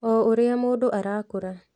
O ũria mũndũ arakũra